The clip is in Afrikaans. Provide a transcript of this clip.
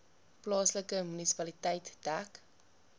plaaslike munisipaliteit dek